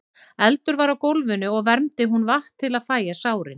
Eldur var á gólfinu og vermdi hún vatn til að fægja sárin.